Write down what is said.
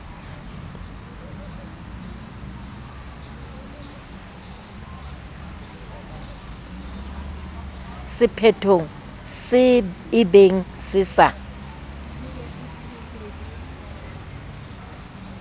sephethong se ebeng se sa